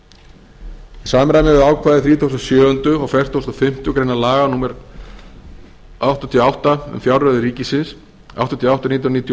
í samræmi við ákvæði þrítugustu og sjöunda og fertugasta og fimmtu grein laga númer um fjárreiður ríkisins númer áttatíu og átta nítján hundruð níutíu og